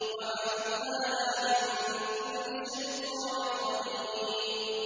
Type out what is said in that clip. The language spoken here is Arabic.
وَحَفِظْنَاهَا مِن كُلِّ شَيْطَانٍ رَّجِيمٍ